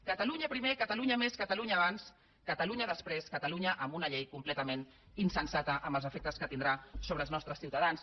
catalunya primer catalunya més catalunya abans catalunya després catalunya amb una llei completament insensata amb els efectes que tindrà sobre els nostres ciutadans